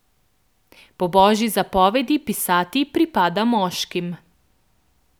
Po božji zapovedi pisati pripada moškim.